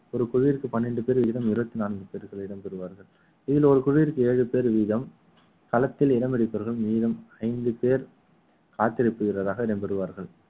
ஒரு குழுவிற்கு பனிரெண்டு பேர் வீதம் இருபத்தி நான்கு பேர்கள் இடம் பெறுவார்கள் இதில் ஒரு குழுவிற்கு ஏழு பேர் வீதம் களத்தில் இடம் இருப்பவர்கள் மீதம் ஐந்து பேர் காத்திருப்பு வீரராக இடம் பெறுவார்கள்